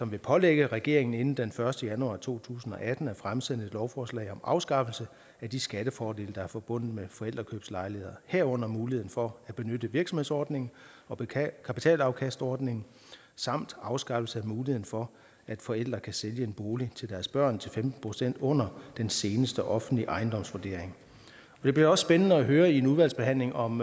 vil pålægge regeringen inden den første januar to tusind og atten at fremsætte et lovforslag om afskaffelse af de skattefordele der er forbundet med forældrekøbslejligheder herunder muligheden for at benytte virksomhedsordningen og kapitalafkastordningen samt afskaffelse af muligheden for at forældre kan sælge en bolig til deres børn til femten procent under den seneste offentlige ejendomsvurdering det bliver også spændende at høre i en udvalgsbehandling om